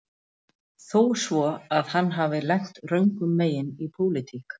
Þó svo að hann hafi lent röngum megin í pólitík